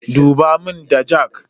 Duba muna da jak?